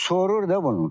Sorur da bunu.